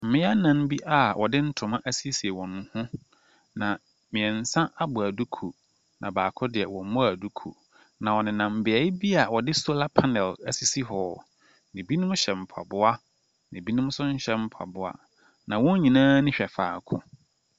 Mmea nan bi a wɔde ntoma asiesie wɔn ho. Mmiɛnsa abɔ duku, na baako deɛ, ɔmmɔɔ duku. Na wɔnam bea bi a wɔde solar pannel asisi hɔ. Na ebinom hyɛ mpaboa, na ebinom nhɛ mpaboa. Na wɔn nyinaa ani hwɛ faako.